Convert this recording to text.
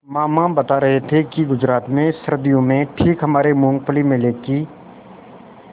मामा बता रहे थे कि गुजरात में सर्दियों में ठीक हमारे मूँगफली मेले की